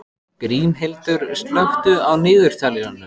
Grímhildur, slökktu á niðurteljaranum.